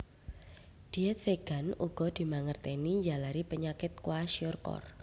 Dièt vegan uga dimangertèni njalari penyakit kwashiorkor